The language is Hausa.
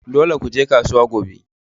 Dole ku je kasuwa gobe!